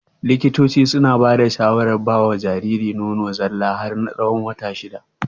Likitocin suna bada shawarar bawa Jariri nono zalla har na tsawon wata shida